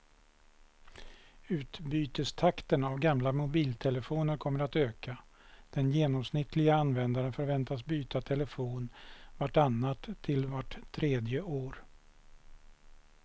Utbytestakten av gamla mobiltelefoner kommer att öka, den genomsnittliga användaren förväntas byta telefon vart annat till vart tredje år.